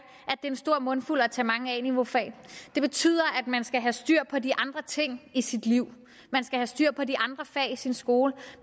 en stor mundfuld at tage mange a niveaufag det betyder at man skal have styr på de andre ting i sit liv man skal have styr på de andre fag i sin skole